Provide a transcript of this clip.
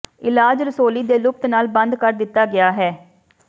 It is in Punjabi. ਇਲਾਜ ਰਸੌਲੀ ਦੇ ਲੁਪਤ ਨਾਲ ਬੰਦ ਕਰ ਦਿੱਤਾ ਗਿਆ ਹੈ